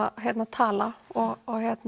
tala og